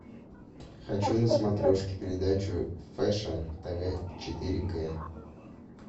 хочу на смотрешке передачу фэшн тв четыре к